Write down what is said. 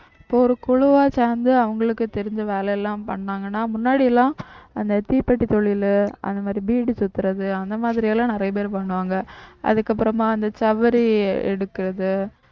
இப்போ ஒரு குழுவா சேர்ந்து அவங்களுக்கு தெரிஞ்ச வேலை எல்லாம் பண்ணாங்கன்னா முன்னாடிலாம் அந்த தீப்பெட்டி தொழிலு, அந்த மாதிரி பீடி சுத்துறது, அந்த மாதிரி எல்லாம் நிறைய பேர் பண்ணுவாங்க அதுக்கப்புறமா அந்த சவுரி எடுக்கிறது